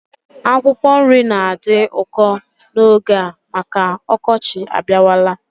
Akwụkwọ nri na-adị ụkọ n'oge a maka m ọkọchị abịawala